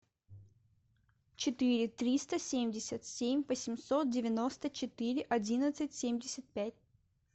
четыре триста семьдесят семь восемьсот девяносто четыре одиннадцать семьдесят пять